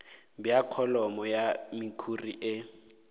bja kholomo ya mekhuri e